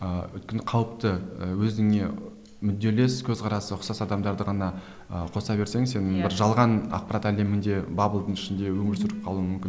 ыыы өйткені қауіпті ыыы өзіңе мүдделес көзқарасы ұқсас адамдарды ғана ыыы қоса берсең сен бір жалған ақпарат әлемінде баблдың ішінде өмір сүріп қалуың мүмкін